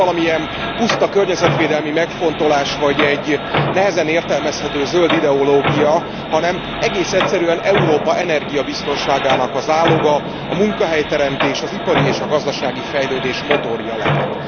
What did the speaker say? Ez nem valamilyen puszta környezetvédelmi megfontolás, vagy egy nehezen értelmezhető zöld ideológia, hanem egész egyszerűen Európa energiabiztonságának a záloga, a munkahelyteremtés, az ipari és a gazdasági fejlődés motorja lehet.